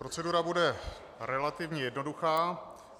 Procedura bude relativně jednoduchá.